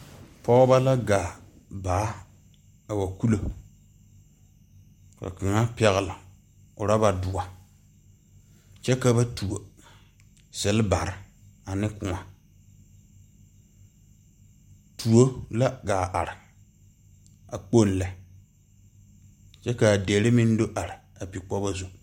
Pɔgba la gaa baa a wa kulo ka kanga pɛgle ɔraba duo kye ka ba tuo selbari ane kou tuɔ la a gaa arẽ a kpong le kye ka a deɛ meng do arẽ a pi kpogu zu.